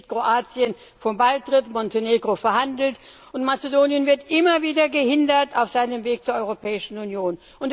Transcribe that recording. Inzwischen steht Kroatien vor dem Beitritt, Montenegro verhandelt, und Mazedonien wird immer wieder gehindert auf seinem Weg zur Europäischen Union.